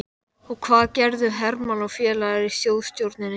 Og hvað gerðu Hermann og félagar í Þjóðstjórninni?